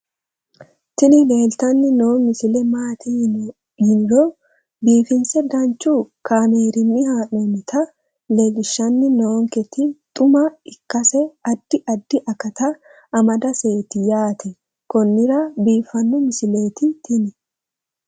tini leeltanni noo misile maaati yiniro biifinse danchu kaamerinni haa'noonnita leellishshanni nonketi xuma ikkase addi addi akata amadaseeti yaate konnira biiffanno misileeti tini